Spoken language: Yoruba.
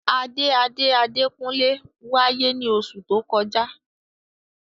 Ade ade Adekunle waye ni osu to koja.